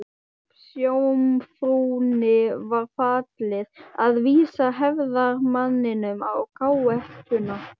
Skipsjómfrúnni var falið að vísa hefðarmanninum á káetuna.